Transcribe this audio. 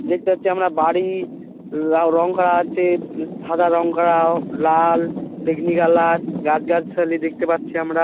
দেখতে পাচ্ছি আমরা বাড়ি রাও রং করা আছে প্লাস সাদা রং করা ও লাল বেগনী কালার । গাছগাছালি দেখতে পাচ্ছি আমরা।